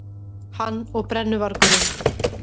Hann og brennuvargurinn.